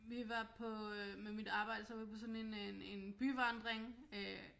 Vi var på øh med mit arbejde så var vi på sådan en byvandring øh